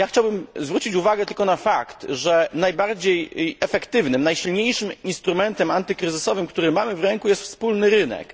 Chciałbym zwrócić uwagę tylko na fakt, że najbardziej efektywnym, najsilniejszym instrumentem antykryzysowym, który mamy w ręku, jest wspólny rynek.